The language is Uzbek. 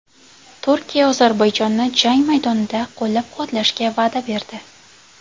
Turkiya Ozarbayjonni jang maydonida qo‘llab-quvvatlashga va’da berdi.